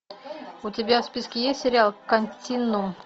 у тебя в списке есть сериал континуум